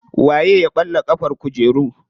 Waye ya ɓalla ƙafar kujeru.